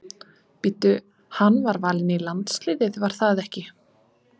Bíddu hann var valinn í landsliðið var það ekki?